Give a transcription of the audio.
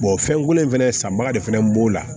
fɛnko in fɛnɛ sanbaga de fana b'o la